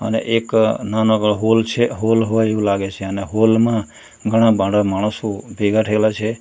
અને એક નાના એવો હોલ છે હોલ હોય એવું લાગે છે અને હોલ માં ઘણા બાધા માણસો ભેગા થયેલા છે.